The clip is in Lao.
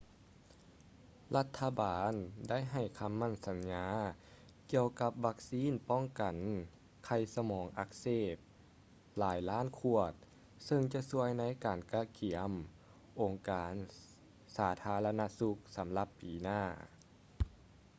ລັດຖະບານໄດ້ໃຫ້ຄໍາໝັ້ນສັນຍາກຽ່ວກັບວັກຊີນປ້ອງກັນໄຂ້ສະໝອງອັກເສບຫຼາຍລ້ານຂວດເຊິ່ງຈະຊ່ວຍໃນການກະກຽມອົງການສາທາລະນະສຸກສຳລັບປີໜ້າ